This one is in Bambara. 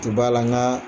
Ti b'a la nka